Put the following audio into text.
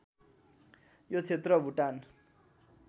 यो क्षेत्र भुटान